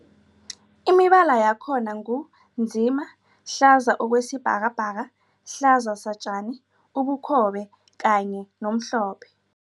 Imibala yakhona ngu nzima, hlaza okwesibhakabhaka, hlaza satjani, ubukhobe kanye nomhlophe.